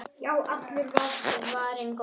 Já, allur var varinn góður!